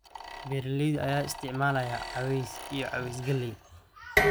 Beeralayda ayaa isticmaalaya caws iyo caws galley.